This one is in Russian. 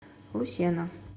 лусена